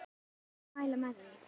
Ég myndi mæla með því.